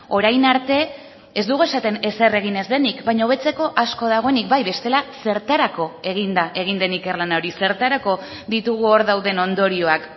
orain arte ez dugu esaten ezer egin ez denik baina hobetzeko asko dagoenik bai bestela zertarako egin da egin den ikerlana hori zertarako ditugu hor dauden ondorioak